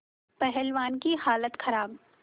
पहलवान की हालत खराब